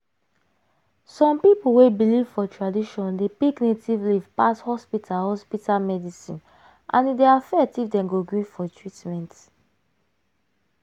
some people wey believe for tradition dey pick native leaf pass hospital hospital medicine and e dey affect if dem go gree for treatment.